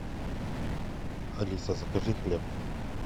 алиса закажи хлеб